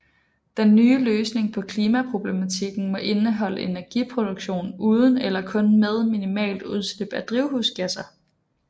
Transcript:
Den nye løsning på klimaproblematikken må indeholde energiproduktion uden eller kun med minimalt udslip af drivhusgasser